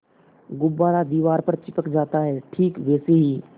गुब्बारा दीवार पर चिपक जाता है ठीक वैसे ही